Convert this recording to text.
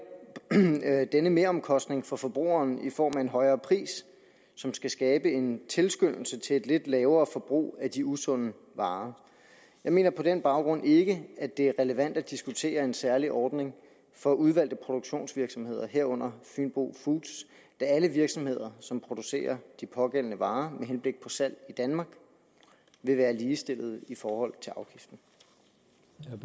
denne meromkostning for forbrugeren i form af en højere pris som skal skabe en tilskyndelse til et lidt lavere forbrug af de usunde varer jeg mener på den baggrund ikke at det er relevant at diskutere en særlig ordning for udvalgte produktionsvirksomheder herunder fynbo foods da alle virksomheder som producerer de pågældende varer med henblik på salg i danmark vil være ligestillede i forhold